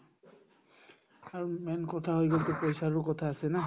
আৰু main কথা হৈ গ'লতো পইচাৰো কথা আছে না